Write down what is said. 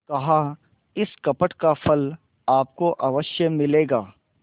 कहाइस कपट का फल आपको अवश्य मिलेगा